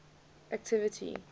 activity